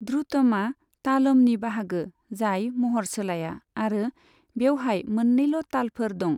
ध्रुथमआ तालमनि बाहागो जाय महर सोलाया आरो बेवहाय मोन्नैल' तालफोर दं।